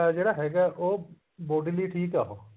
ਜਿਹੜਾ ਹੈਗਾ ਉਹ body ਲਈ ਠੀਕ ਉਹ